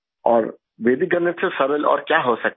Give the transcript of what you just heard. और वैदिक गणित से सरल और क्या हो सकता है